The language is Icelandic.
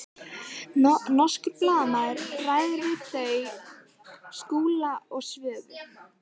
Norskur blaðamaður ræðir við þau Skúla og Svövu.